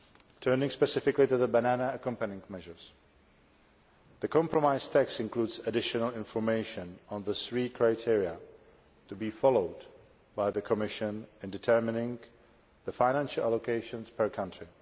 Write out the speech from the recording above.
Turning specifically to the Banana Accompanying Measures the compromise text includes additional information on the three criteria to be followed by the Commission in determining the financial allocations per country.